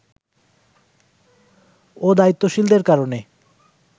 ও দায়িত্বশীলদের কারণে